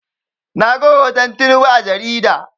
Na ga hoton Tinubu a jarida